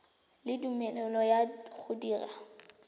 le tumelelo ya go dira